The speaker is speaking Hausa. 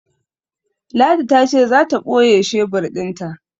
Ladi ta ce za ta ɓoye shebur ɗin ta.